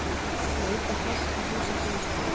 Neyta hass í húsakynnum skólans.